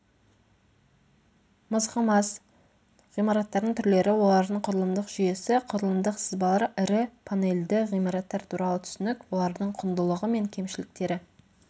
мызғымас ғимараттардың түрлері олардың құрылымдық жүйесі құрылымдық сызбалар ірі панельді ғимараттар туралы түсінік олардың құндылығы мен кемшіліктері